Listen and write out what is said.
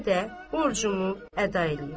Mən yenə də borcumu əda eləyim.